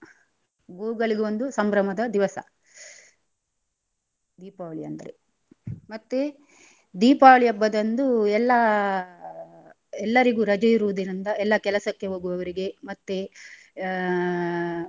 ಗೋವ್ಗಳಿಗೊಂದು ಸಂಭ್ರಮದ ದಿವಸ ದೀಪಾವಳಿ ಅಂದ್ರೆ. ಮತ್ತೆ ದೀಪಾವಳಿ ಹಬ್ಬದಂದು ಎಲ್ಲಾ ಎಲ್ಲರಿಗು ರಜೆ ಇರುದರಿಂದ ಎಲ್ಲ ಕೆಲಸಕ್ಕೆ ಹೋಗುವವರಿಗೆ ಮತ್ತೆ ಆ.